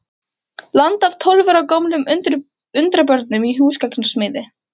landi af tólf ára gömlum undrabörnum í húsgagnasmíði.